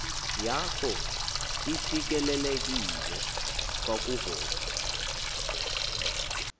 yakho isikelelekile kwakuvoka